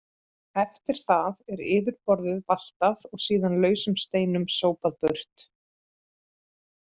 Eftir það er yfirborðið valtað og síðan lausum steinum sópað burt.